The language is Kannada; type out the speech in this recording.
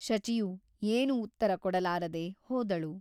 ಶಚಿಯು ಏನು ಉತ್ತರ ಕೊಡಲಾರದೆ ಹೋದಳು.